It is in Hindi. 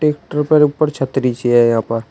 ट्रैक्टर पर ऊपर छतरी है यहां पर।